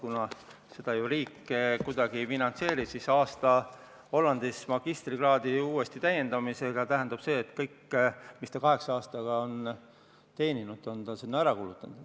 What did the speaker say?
Kuna seda meie riik kuidagi ei finantseeri, tähendab aasta Hollandis magistrikraadi uuesti tegemist seda, et kõik, mis ta kaheksa aastaga on teeninud, on ta selleks ära kulutanud.